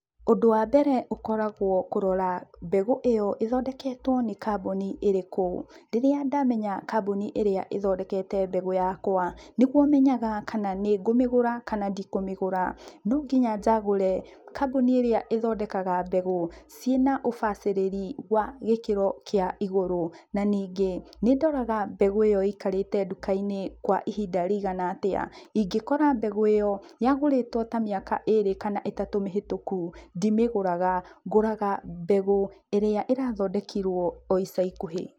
Ũndũ wa mbere ũkoragwo kũrora mbegũ ĩyo ĩthondeketwo nĩ kamboni ĩrĩkũ, rĩrĩa ndamenya kamboni ĩrĩa ĩthondekete mbegũ yakwa nĩguo menyaga kana nĩ ngũmĩgũra kana ndikũmĩgũra, no nginya njagũre kamboni ĩrĩa ĩthondekaga mbegũ ciĩna ũbacĩrĩri wa gĩkĩro kĩa igũrũ. Na ningĩ nĩndoraga mbegũ ĩyo ĩikarĩte ndukainĩ kwa ihinda rĩigana atĩa, ingĩkora mbegũ ĩyo yagũrĩtwo mĩaka ĩrĩ kana mĩaka ĩtatũ mĩhĩtũku ndimĩgũraga, ngũraga mbegũ ĩrĩa ĩrathondekirwo o ica ikuhĩ.